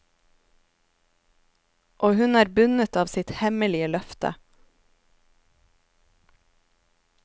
Og hun er bundet av sitt hemmelige løfte.